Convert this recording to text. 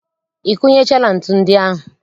I kunechaala ntu ndị ahụ?